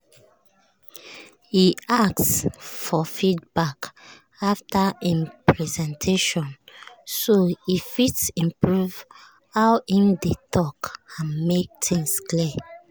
he ask for feedback after him presentations so he fit improve how him dey talk and make things clear.